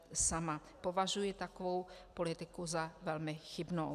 Považuji takovou politiku za velmi chybnou.